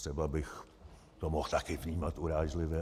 Třeba bych to mohl také vnímat urážlivě.